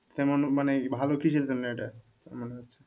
তারমানে এটা ভালো কিছুর জন্য এটা মনে হচ্ছে,